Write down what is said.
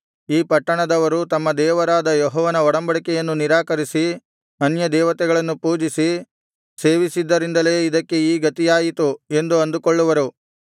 ಈ ಪಟ್ಟಣದವರು ತಮ್ಮ ದೇವರಾದ ಯೆಹೋವನ ಒಡಂಬಡಿಕೆಯನ್ನು ನಿರಾಕರಿಸಿ ಅನ್ಯದೇವತೆಗಳನ್ನು ಪೂಜಿಸಿ ಸೇವಿಸಿದ್ದರಿಂದಲೇ ಇದಕ್ಕೆ ಈ ಗತಿಯಾಯಿತು ಎಂದು ಅಂದುಕೊಳ್ಳುವರು